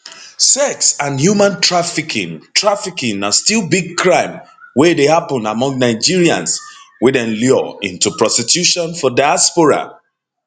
sex and human trafficking trafficking na still big crime wey dey happun among nigerians wey dem lure into prostitution for diaspora